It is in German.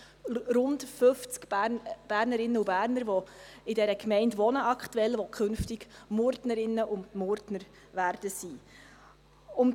Rund fünfzig Bernerinnen und Berner, die aktuell in der Gemeinde wohnen, werden künftig Murtnerinnen und Murtner sein.